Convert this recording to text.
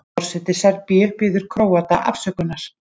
Forseti Serbíu biður Króata afsökunar